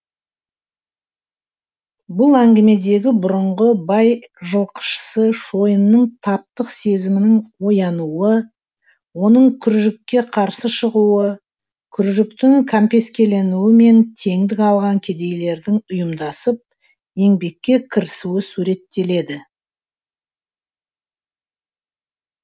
бұл әңгімедегі бұрыңғы бай жылқышысы шойынның таптық сезімінің оянуы оның күржікке қарсы шығуы күржіктің кәмпескеленуі мен теңдік алған кедейлердің ұйымдасып еңбекке крісуі суреттеледі